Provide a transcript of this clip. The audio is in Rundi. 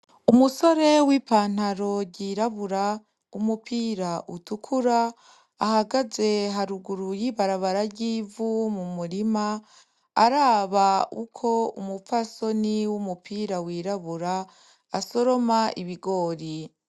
Umusore w'ipanaro yirabura umupira utukura ahagaze haruguru ry'ibarabara ry'ivu mu murima, araba uko umupfasoni w'umupira wirabura asoroma ibigori.